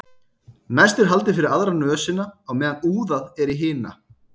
næst er haldið fyrir aðra nösina á meðan úðað er í hina